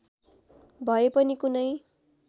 भए पनि कुनै